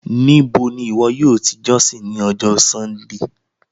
Níbò ni iwọ̀ yóò tì jọ̀ṣìn ni ọjọ́ Súndéé?